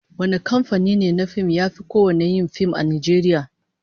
Wane kamfani ne na fim yafi kowanne yin fim a Najeriya?